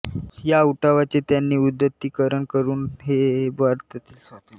या उठावाचे त्यांनी उदात्तीकरण करून ते भारतीय स्वातंत्र्य लढ्याचे अद्यापर्व असल्याचे परखडपणे प्रतिपादन केले